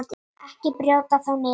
Ekki brjóta þá niður.